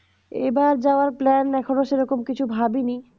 এবার যাওয়ার plan এখনো সেরকম কিছু ভাবিনি